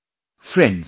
Friends,